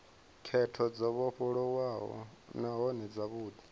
khetho dzo vhofholowaho nahone dzavhudi